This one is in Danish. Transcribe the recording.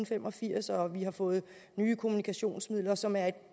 fem og firs og vi har fået nye kommunikationsmidler som er et